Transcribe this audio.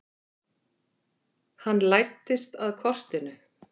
Hann læddist að kortinu.